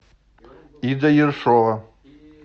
ида ершова